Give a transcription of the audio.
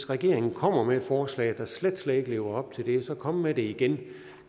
regeringen kommer med et forslag der slet slet ikke lever op til det så kom med det igen